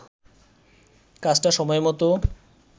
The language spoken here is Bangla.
কাজটা সময়মতো